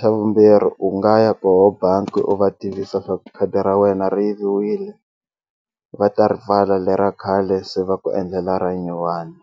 xa vumbirhi u nga ya koho bangi u va tivisa swaku khadi ra wena ri yiviwile va ta ripfala le ra khale se va ku endlela ra nyuwani.